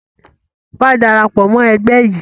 Wa darapọ̀ mọ ẹgbẹ́ yìí!